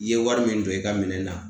I ye wari min don i ka minɛn na